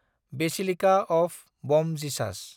basilica of Bom Jesus